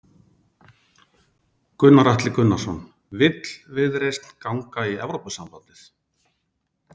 Gunnar Atli Gunnarsson: Vill Viðreisn ganga í Evrópusambandið?